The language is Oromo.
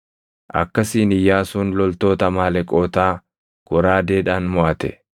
Akkasiin Iyyaasuun loltoota Amaaleqootaa goraadeedhaan moʼate.